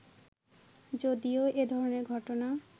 যদিও এ ধরনের ঘটনা